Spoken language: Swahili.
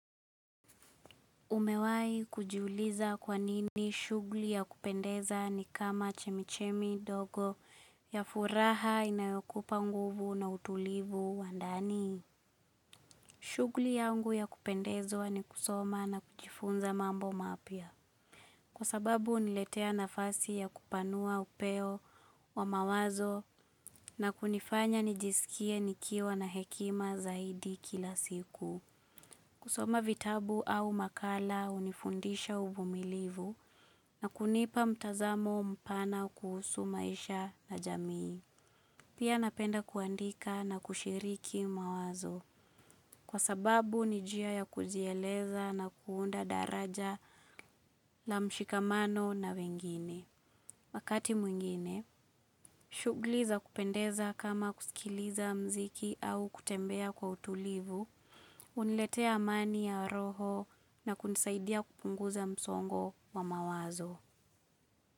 Umewahi kujiuliza kwanini shughuli ya kupendeza ni kama chemichemi ndogo ya furaha inayokupa nguvu na utulivu wa ndani. Shughuli yangu ya kupendezwa ni kusoma na kujifunza mambo mapya. Kwa sababu huniletea nafasi ya kupanua upeo wa mawazo na kunifanya nijisikie nikiwa na hekima zaidi kila siku. Kusoma vitabu au makala hunifundisha uvumilivu na kunipa mtazamo mpana kuhusu maisha na jamii. Pia napenda kuandika na kushiriki mawazo. Kwa sababu, ni njia ya kujieleza na kuunda daraja la mshikamano na wengine. Makati mwingine, shughuli za kupendeza kama kusikiliza muziki au kutembea kwa utulivu. Huniletea amani ya roho na kunisaidia kupunguza msongo wa mawazo.